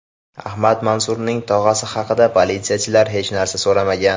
Ahmad Mansurning tog‘asi haqida politsiyachilar hech narsa so‘ramagan.